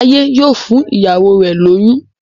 Jaiye yíò fún ìyàwó rẹ lóyún.